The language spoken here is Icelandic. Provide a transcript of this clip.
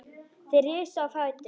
Þeir risu á fætur.